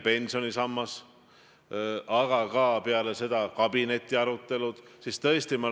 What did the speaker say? " See on minu jaoks nagu murekoht, mida ma tahtsin teiega täna siin arutada.